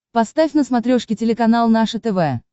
поставь на смотрешке телеканал наше тв